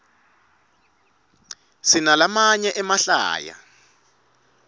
sinalamanye emahlaya